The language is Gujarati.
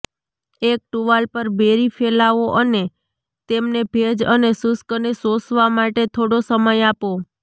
એક ટુવાલ પર બેરી ફેલાવો અને તેમને ભેજ અને શુષ્કને શોષવા માટે થોડો સમય આપો